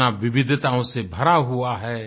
इतना विविधिताओं से भरा हुआ है